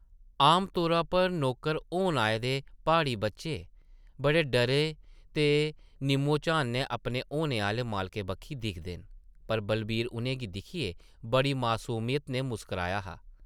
आमतौरा उप्पर नौकर होन आए दे प्हाड़ी बच्चे बड़े डर ते निम्मो-झानी नै अपने होने आह्ले मालकें बक्खी दिखदे न, पर बलवीर उʼनें गी दिक्खियै बड़ी मसूमियत नै मुस्कराया हा ।